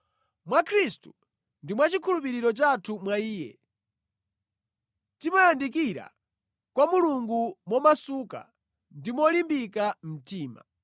Mwa Khristu ndi mwa chikhulupiriro chathu mwa Iye, timayandikira kwa Mulungu momasuka ndi molimbika mtima.